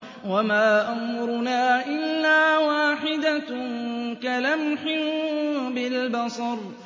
وَمَا أَمْرُنَا إِلَّا وَاحِدَةٌ كَلَمْحٍ بِالْبَصَرِ